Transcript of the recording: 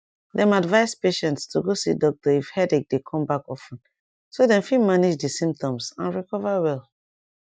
dem advise patients to go see doctor if headache dey come back of ten so dem fit manage di symptoms and recover well